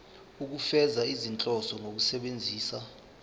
ukufeza izinhloso zokusebenzisa